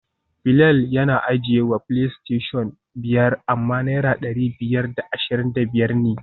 Bilal yana ajiyewa playstation biyar amma naira dari biyar da ashirin da biyar ne